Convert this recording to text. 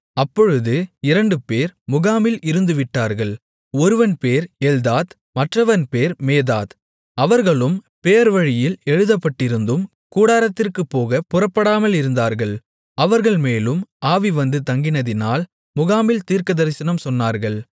அப்பொழுது இரண்டு பேர் முகாமில் இருந்துவிட்டார்கள் ஒருவன் பேர் எல்தாத் மற்றவன் பேர் மேதாத் அவர்களும் பேர்வழியில் எழுதப்பட்டிருந்தும் கூடாரத்திற்குப் போகப் புறப்படாமலிருந்தார்கள் அவர்கள்மேலும் ஆவி வந்து தங்கினதினால் முகாமில் தீர்க்கதரிசனம் சொன்னார்கள்